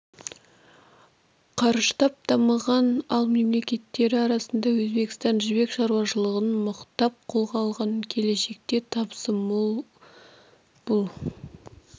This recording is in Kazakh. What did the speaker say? қарыштап дамыған ал мемлекеттері арасында өзбекстан жібек шаруашылығын мықтап қолға алған келешекте табысы мол бұл